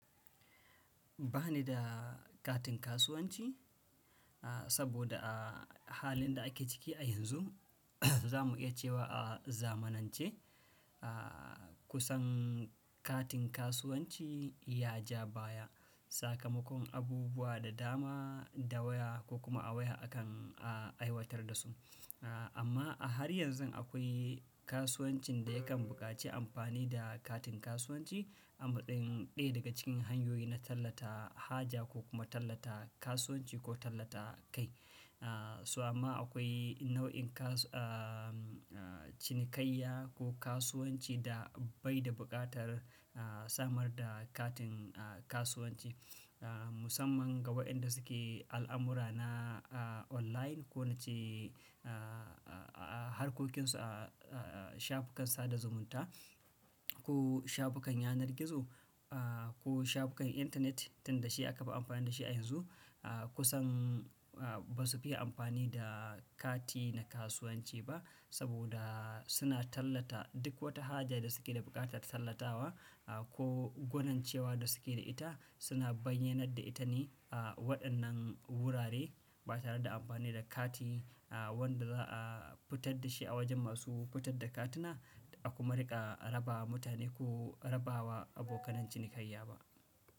Ba ni da katin kasuwanci, saboda a halin da ake ciki a yanzu za mu iya cewa a zamanance kusan katin kasuwanci ya ja baya. Sakamakon abubuwa da dama da waya ko kuma a waya akan aiwatar da su. Amma har yanzun akwai kasuwancin da yakan buƙaci amfani da katin kasuwanci, ɗaya daga cikin hanyoyi na tallata haja ko kuma tallata kasuwanci ko tallata kai. So amma akwai nau'in kasu-- cinikayya ko kasuwanci da bai da buƙatar samar da katin kasuwanci, musamman ga waɗanda suke al'amura na online ko nace a harkokinsu a shafukan sada zumunta ko shafukan yanar gizo ko shafukan intanet tunda shi aka fi amfani da shi a yanzu. Kusan ba su fiye amfani da kati na kasuwanci ba saboda suna tallata duk wata haja da suke da buƙatar tallatawa ko gwanincewa da suke da ita, suna bayyanar da ita ne. Waɗannan wurare ba tareda amfani da kati wanda za a fitar da shi a wajen masu fitar da katuna, a kuma riƙa rabawa mutane ko rabawa abokan cinikayya ba.